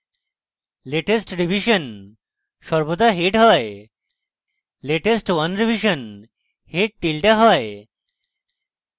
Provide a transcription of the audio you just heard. latest revision সর্বদা head হয় latest 1 revision head tilde হয়